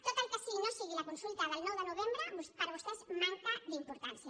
tot el que no sigui la consulta del nou de novembre per a vostès manca d’importància